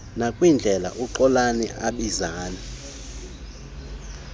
nakwindlela uxolani abizana